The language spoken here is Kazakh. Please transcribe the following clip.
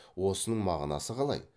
осының мағынасы қалай